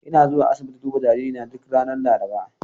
Ina zuwa asibiti duba jaririna duk ranar Laraba.